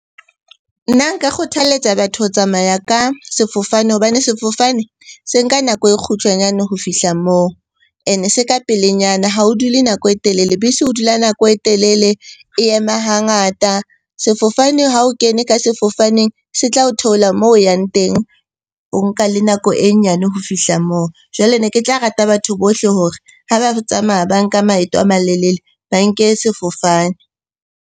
Nna nka kgothaletsa batho ho tsamaya ka sefofane hobane sefofane se nka nako e kgutshwanyane ho fihla moo. Ene se ka pelenyana, ha o dule nako e telele. Bese o dula nako e telele, e ema hangata. Sefofane ha o kene ka sefofaneng se tla o theola moo o yang teng, o nka le nako e nyane ho fihla moo. Jwale ne ke tla rata batho bohle hore ha ba tsamaya ba nka maeto a malelele, ba nke sefofane.